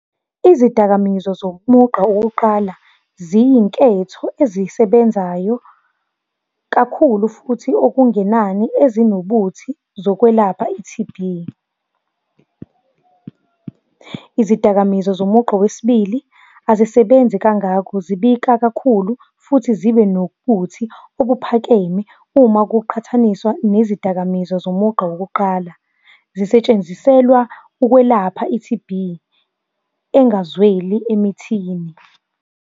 Izidakamizwa zomugqa wokokuqala ziyinketho ezisebenzayo kakhulu, futhi okungenani ezinobuthi zokwelapha i-T_B. Izidakamizwa zomugqa wesibili azisebenzi kangako, zibika kakhulu, futhi zibe nobuthi obuphakeme, uma kuqhathaniswa nezidakamizwa. zomugqa wokuqala, zisetshenziselwa ukwelapha i-T_B engazweli emithini.